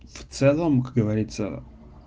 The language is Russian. в целом как говорится